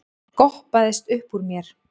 goppaðist uppúr mér.